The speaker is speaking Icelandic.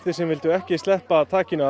sem vildu ekki sleppa takinu af